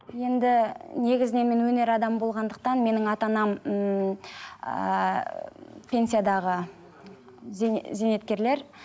енді негізінен мен өнер адамы болғандықтан менің ата анам ммм ааа пенсиядағы зейнеткерлер